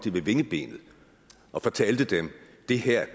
ved vingebenet og fortalte dem det her